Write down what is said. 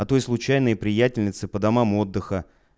а то и случайные приятельницы по домам отдыха